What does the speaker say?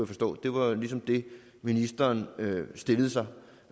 forstå var ligesom det ministeren stillede sig